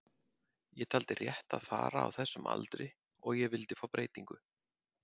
Ég taldi rétt að fara á þessum aldri og ég vildi fá breytingu.